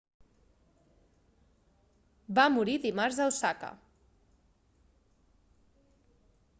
va morir dimarts a osaka